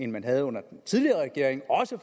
man havde under den tidligere regering og også at